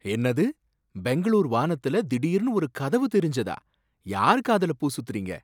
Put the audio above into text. என்னது! பெங்களூர் வானத்துல திடீர்னு ஒரு கதவு தெரிஞ்சதா? யார் காதுல பூ சுத்துறீங்க?